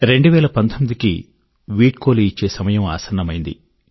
2019 కి వీడ్కోలు ఇచ్చే సమయం ఆసన్నమైంది